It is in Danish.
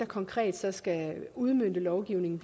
konkret skal udmønte lovgivningen